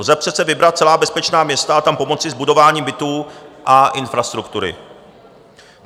Lze přece vybrat celá bezpečná města a tam pomoci s budováním bytů a infrastruktury.